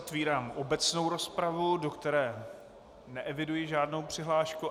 Otvírám obecnou rozpravu, do které neeviduji žádnou přihlášku.